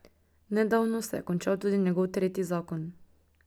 Nedavno se je končal tudi njegov tretji zakon.